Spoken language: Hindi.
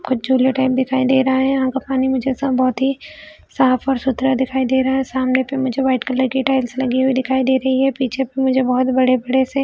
और झूले टाइप में दिखाई दे रहा हैयहाँ का पानी मुझे सब बहोत ही साफ और सुतरा दिखाई दे रहा है सामने पे मुझे वाइट कलर की टाइल्स लगी हुई दिखाई दे रही है पीछे पे मुझे बहोत बड़े बड़े से--